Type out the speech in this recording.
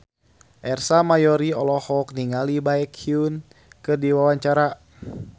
Ersa Mayori olohok ningali Baekhyun keur diwawancara